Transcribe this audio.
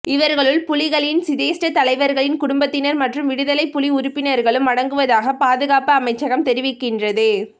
இவர்களுள் புலிகளின் சிரேஷ்ட தலைவர்களின் குடும்பத்தினர் மற்றும் விடுதலை புலி உறுப்பினர்களும் அடங்குவதாக பாதுகாப்பு அமைச்சகம் தெரிவிக்கின்றது